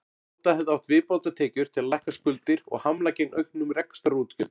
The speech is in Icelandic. Nota hefði átt viðbótartekjur til að lækka skuldir og hamla gegn auknum rekstrarútgjöldum.